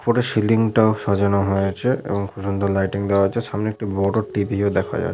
ওপরে সিলিং -টাও সাজানো হয়েছে এবং খুব সুন্দর লাইটিং দেওয়া হয়েছে সামনে একটি বড় টেবিল ও দেখা যা--